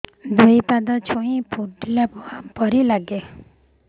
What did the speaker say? ଦୁଇ ପାଦ ଛୁଞ୍ଚି ଫୁଡିଲା ପରି ଲାଗେ